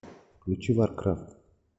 включи варкрафт